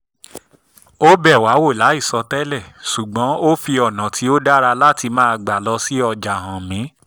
ó bẹ̀ wá wò láìsọ tẹ́lẹ̀ ṣùgbọ́n ó fi ọ̀nà tó dára láti máa gbà lọ sí ọjà hàn mí